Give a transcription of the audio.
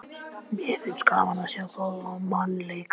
Mér finnst gaman að sjá góðan mann leika.